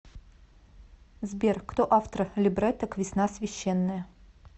сбер кто автор либретто к весна священная